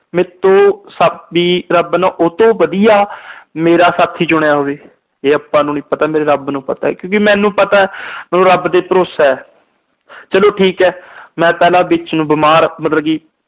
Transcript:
ਮੈਥੋਂ ਸਾਥੀ ਰੱਬ ਨੇ ਸਭ ਤੋਂ ਵਧੀਆ ਮੇਰਾ ਸਾਥੀ ਚੁਣਿਆ ਹੋਵੇ। ਇਹ ਆਪਾ ਨੂੰ ਨੀ ਪਤਾ, ਮੇਰੇ ਰੱਬ ਨੂੰ ਪਤਾ ਕਿਉਂਕਿ ਮੈਨੂੰ ਪਤਾ ਰੱਬ ਤੇ ਭਰੋਸਾ। ਚਲੋ ਠੀਕ ਆ। ਮੈਂ ਪਹਿਲਾ ਵਿੱਚ ਨੂੰ ਬੀਮਾਰ ਮਤਲਬ ਕਿ